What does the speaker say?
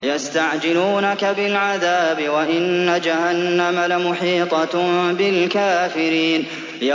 يَسْتَعْجِلُونَكَ بِالْعَذَابِ وَإِنَّ جَهَنَّمَ لَمُحِيطَةٌ بِالْكَافِرِينَ